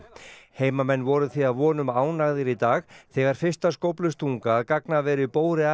heimamenn voru því að vonum ánægðir í dag þegar fyrsta skóflustunga að gagnaveri